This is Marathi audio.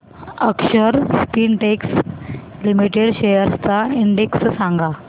अक्षर स्पिनटेक्स लिमिटेड शेअर्स चा इंडेक्स सांगा